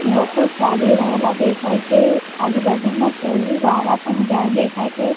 લોકો ચાલી રહેલા દેખાય છે આજુબાજુમાં ફુલવાળા પણ ઝાડ દેખાય છે.